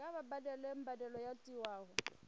kha vha badele mbadelo yo tiwaho